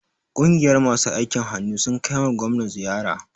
Ƙungiyar masu aikin hannu sun kaima gwamna ziyara.